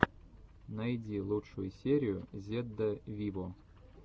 найди лучшую серию зедда виво